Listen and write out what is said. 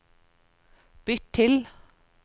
bytt til